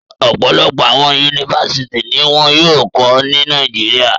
Ọpọlọpọ awọn Yunifásítì ni wọn yóò kọ ni Nàìjíríà